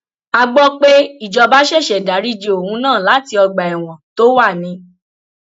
a gbọ pé ìjọba ṣẹṣẹ dariji òun náà láti ọgbà ẹwọn tó wà ni